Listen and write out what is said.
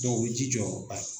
o bi ji jɔ.